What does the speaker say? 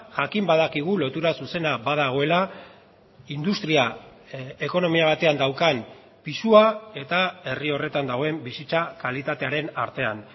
jakin badakigu lotura zuzena badagoela industria ekonomia batean daukan pisua eta herri horretan dagoen bizitza kalitatearen artean